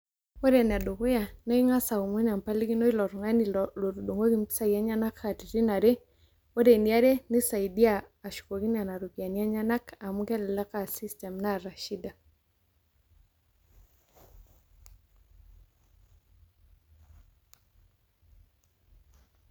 Wore enedukuya naa ingas aomon embalikino eilo tungani lotudungoki impisai enyenak katitin are. Wore eniare, naisaidia ashukoki niana ropiyiani enyanak amu kelelek a system naata shida.